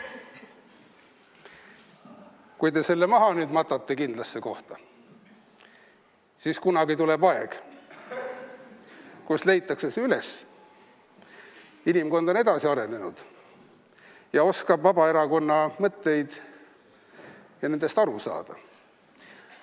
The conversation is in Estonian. Kui te selle nüüd maha matate kindlasse kohta, siis kunagi tuleb aeg, kus leitakse see üles, inimkond on edasi arenenud ja oskab Vabaerakonna mõtetest aru saada.